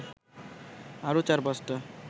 আরও ৪-৫টা